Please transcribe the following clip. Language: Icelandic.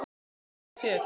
Sunna: En þér?